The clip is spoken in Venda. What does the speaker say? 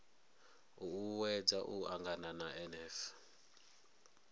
u uuwedza u angana na nf